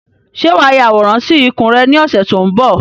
Ṣé wá ya àwòrán sì ikùn rẹ ni ọ̀sẹ̀ tó ń bọ̀?